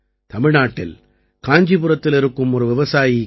தமிழ்நாட்டில் காஞ்சிபுரத்தில் இருக்கும் ஒரு விவசாயி கே